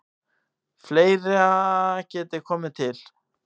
Fleira geti komið til.